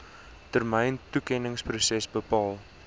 termyn toekenningsproses bepaal